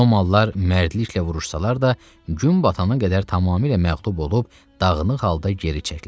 Romalılar mərdliklə vuruşsalar da, gün batana qədər tamamilə məğlub olub, dağınıq halda geri çəkildilər.